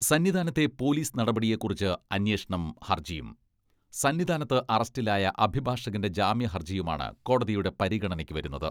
സന്നിധാനത്തെ police നടപടിയെക്കുറിച്ച് അന്വേഷണം ഹർജിയും, സന്നിധാനത്ത് അറസ്റ്റിലായ അഭിഭാഷകന്റെ ജാമ്യഹർജിയുമാണ് കോടതിയുടെ പരിഗണനയ്ക്കു വരുന്നത്.